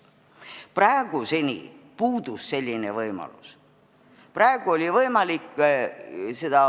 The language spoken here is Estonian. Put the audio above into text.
Praeguseni selline võimalus puudus.